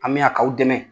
An mi na k'aw dɛmɛ